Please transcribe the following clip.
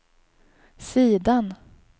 sidan